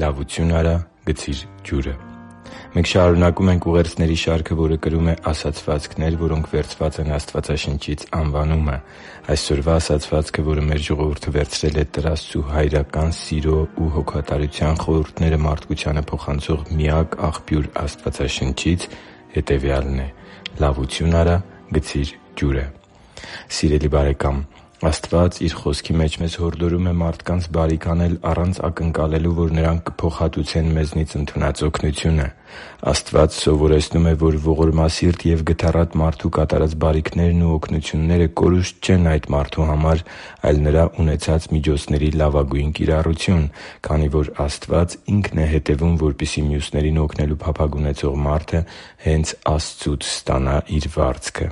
Լավություն արա՛, գցի՛ր ջուրը Մենք շարունակում ենք ուղերձների շարքը, որը կրում է «Ասացվածքներ, որոնք վերցված են Աստվածաշնչից» անվանումը։ Այսօրվա ասացվածքը, որը մեր ժողովուրդը վերցրել է Տեր Աստծու հայրական սիրո ու հոգատարության խորհուրդները մարդկությանը փոխանցող միակ աղբյուր Աստվածաշնչից, հետևյալն է՝ «Լավություն արա՛, գցի՛ր ջուրը»։ Սիրելի՛ բարեկամ, Աստված Իր Խոսքի մեջ մեզ հորդորում է մարդկանց բարիք անել առանց ակնկալելու, որ նրանք կփոխհատուցեն մեզնից ընդունած օգնությունը։ Աստված սովորեցնում է, որ ողորմասիրտ և գթառատ մարդու կատարած բարիքներն ու օգնությունները կորուստ չեն այդ մարդու համար, այլ նրա ունեցած միջոցների լավագույն կիրառություն, քանի որ Աստված Ինքն է հետևում, որպեսզի մյուսներին օգնելու փափագ ունեցող մարդը հե՛նց Աստծուց ստանա իր վարձքը։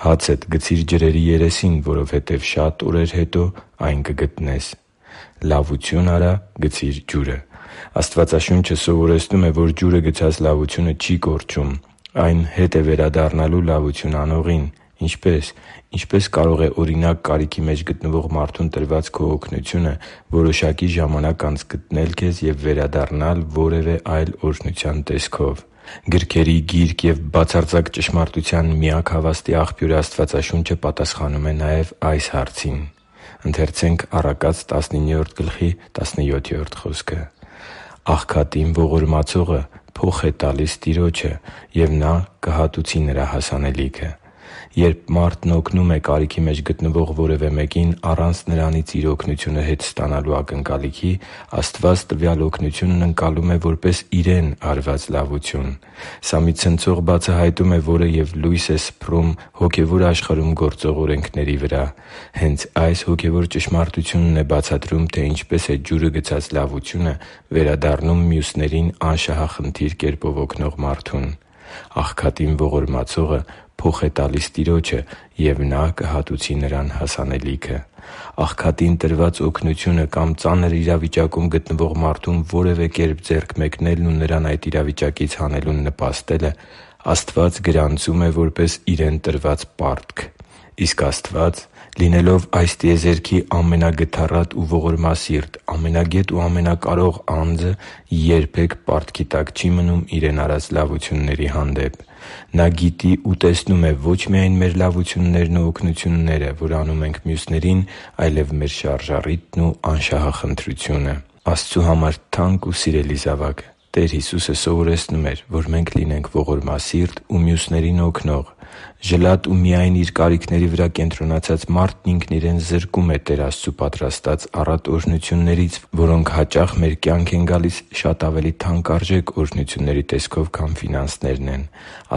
«Հացդ գցի՛ր ջրերի երեսին, որովհետև շատ օրեր հետո այն կգտնես» (Ժողովող 11․1): «Լավություն արա՛, գցի՛ր ջուրը»։ Աստվածաշունչը սովորեցնում է, որ ջուրը գցած լավությունը չի կորչում։ Այն հետ է վերադառնալու լավություն անողին։ Ինչպե՞ս։ Ինչպե՞ս կարող է, օրինակ, կարիքի մեջ գտնվող մարդուն տրված քո օգնությունը որոշակի ժամանակ անց գտնել քեզ ու վերադառնալ որևէ այլ օրհնության տեսքով։ Գրքերի Գիրք և բացարձակ ճշմարտութան միակ հավաստի Աղբյուր Աստվածաշունչը պատասխանում է նաև այս հարցին։ «Աղքատին ողորմացողը փոխ է տալիս Տիրոջը, և Նա կհատուցի նրան հասանելիքը» (Առակաց 19․17): Երբ մարդն օգնում է կարիքի մեջ գտնվող որևէ մեկին առանց նրանից իր օգնությունը հետ ստանալու ակնկալիքի, Աստված տվյալ օգնությունն ընկալում է որպես Իրեն արված լավություն։ Սա մի ցնցող բացահայտում է, որը և լույս է սփռում հոգևոր աշխարհում գործող օրենքների վրա։ Հե՛նց այս հոգևոր ճշմարտությունն է բացատրում, թե ինչպես է ջուրը գցած լավությունը վերադառնում մյուսներին անշահախնդիր կերպով օգնող մարդուն։ «Աղքատին ողորմացողը փոխ է տալիս Տիրոջը, և Նա կհատուցի նրան հասանելիքը»։ Աղքատին տրված օգնությունը կամ ծանր իրավիճակում գտնվող մարդուն որևէ կերպ ձեռք մեկնելն ու նրան այդ իրավիճակից հանելուն նպաստելը Աստված գրանցում է որպես Իրեն տրված պարտք։ Իսկ Աստված, լինելով այս տիեզերքի ամենագթառատ ու ողորմասիրտ, ամենագետ ու ամենակարող Անձը, երբե՛ք պարտքի տակ չի մնում Իրեն արված լավությունների հանդեպ։ Նա գիտի ու տեսնում է ո՛չ միայն մեր լավություններն ու օգնությունները, որ անում ենք մյուսներին, այլև մեր շարժառիթն ու անշահախնդրությունը։ Աստծու համար թանկ ու սիրելի՛ զավակ, Տեր Հիսուսը սովորեցնում էր, որ մենք լինենք ողորմասիրտ ու մյուսներին օգնող։ Ժլատ ու միայն իր կարիքների վրա կենտրոնացած մարդն ինքն իրեն զրկում է Տեր Աստծու պատրաստած առատ օրհնություններից, որոնք հաճախ մեր կյանք են գալիս շատ ավելի թանկարժեք օրհնությունների տեսքով, քան ֆինանսներն են։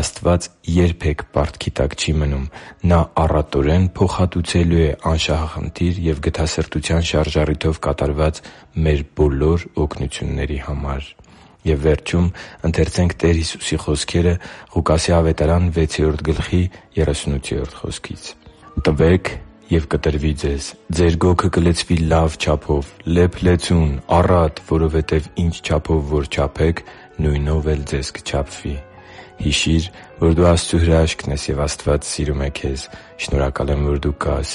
Աստված երբե՛ք պարտքի տակ չի մնում։ Նա առատորեն փոխհատուցելու է անշահախնդիր և գթասրտության շարժառիթով կատարված մեր բոլոր օգնությունների համար։ «Տվե՛ք, և կտրվի ձեզ. ձեր գոգը կլցվի լա՛վ չափով՝ լեփ-լեցուն, առատ, որովհետև ինչ չափով որ չափեք, նույնով էլ ձեզ կչափվի» (Ղուկաս 6.38): Հիշի՛ր, որ դու Աստծո հրաշքն ես, և Աստված սիրում է քեզ։ Շնորհակալ եմ, որ դու կա՛ս